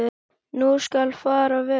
Nú skal fara vel.